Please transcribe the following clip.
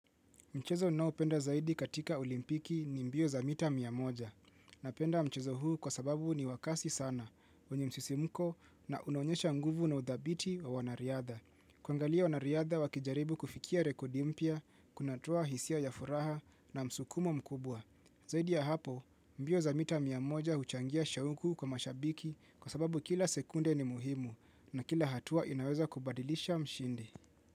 Mchezo ninao penda zaidi katika olimpiki ni mbio za mita miamoja. Na penda mchezo huu kwa sababu ni wakasi sana, wenye msisimuko na unaonyesha nguvu na udhabiti wa wanariadha. Kuangalia wanariadha wakijaribu kufikia rekodi mpya, kunatoa hisia ya furaha na msukumo mkubwa. Zaidi ya hapo, mbio za mita miamoja huchangia shauku kwa mashabiki kwa sababu kila sekunde ni muhimu na kila hatua inaweza kubadilisha mshindi.